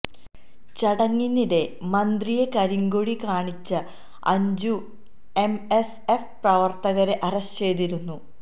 ചടങ്ങിനിടെ മന്ത്രിയെ കരിങ്കൊടി കാണിച്ച അഞ്ചു എംഎസ്എഫ് പ്രവർത്തകരെ അറസ്റ്റ് ചെയ്തിരുന്നു